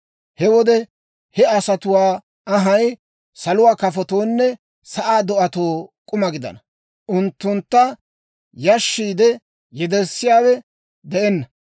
He wode he asatuwaa anhay saluwaa kafotoonne sa'aa do'atoo k'uma gidana; unttunttu yashissiide yederssiyaawe de'enna.